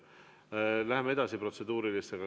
Läheme edasi protseduurilistega.